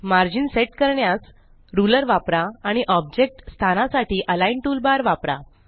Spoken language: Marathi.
मार्जिन सेट करण्यास रुलर वापरा आणि ऑब्जेक्ट स्थानासाठी अलिग्न टूलबार वापरा